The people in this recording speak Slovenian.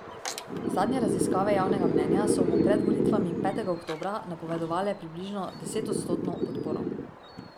V tem obdobju naj bi izpeljali projekte, ki bi jih posamezni partnerji ocenili kot ključne.